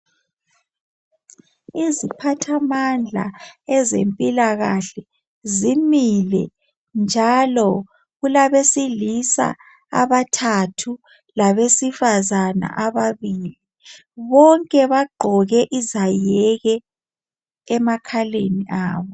Iziphathamandla ezempilakahle zimile njalo kulabe silisa abathathu labesifazana ababili ,bonke baqgoke izayeke emakhaleni abo.